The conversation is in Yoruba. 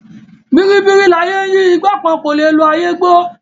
Bìríbìrí láyé ń yí ìgbà kan kò lè lo ayé gbó.